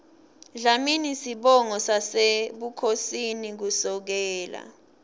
dlamini sibongo sasebukhosini kusukela